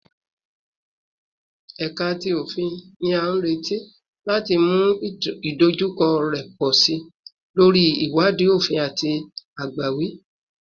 Ẹka ti Ofin ni a nireti lati mu idojukọ rẹ pọ si lori iwadii ofin ati agbawi